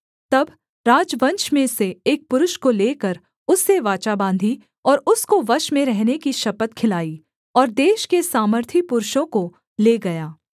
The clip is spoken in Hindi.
तब राजवंश में से एक पुरुष को लेकर उससे वाचा बाँधी और उसको वश में रहने की शपथ खिलाई और देश के सामर्थी पुरुषों को ले गया